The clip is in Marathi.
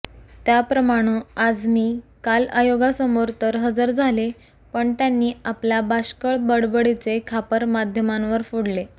त्याप्रमाणं आझमी काल आयोगासमोर तर हजर झाले पण त्यांनी आपल्या बाष्कळ बडबडीचे खापर माध्यमांवर फोडले